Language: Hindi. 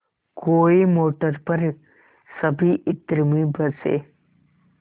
कोई मोटर पर सभी इत्र में बसे